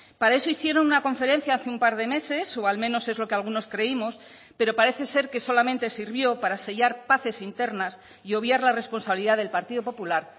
para eso hicieron una conferencia hace un par de meses o al menos es lo que algunos creímos pero parece ser que solamente sirvió para sellar paces internas y obviar la responsabilidad del partido popular